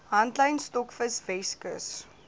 handlyn stokvis weskus